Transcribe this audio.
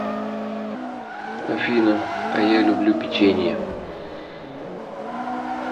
афина а я люблю печенье